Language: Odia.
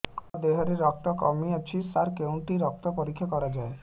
ମୋ ଦିହରେ ରକ୍ତ କମି ଅଛି ସାର କେଉଁଠି ରକ୍ତ ପରୀକ୍ଷା କରାଯାଏ